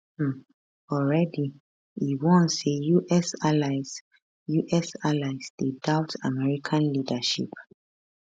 um already e warn say us allies us allies dey doubt american leadership